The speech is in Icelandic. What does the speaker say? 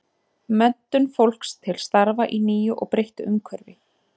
Menntun fólks til starfa í nýju og breyttu umhverfi.